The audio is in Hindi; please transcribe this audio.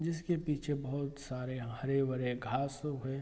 जिसके पीछे बहुत सारे हरे-भरे घास हो गए हैं।